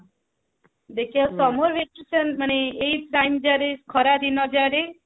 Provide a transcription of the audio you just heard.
ଦେଖିବା summer vacation ମାନେ ଏଇ time ଯାରେ ମାନେ ଖରା ଦିନ ଯାରେ